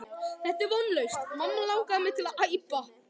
Þetta er vonlaust mamma langar mig til að æpa.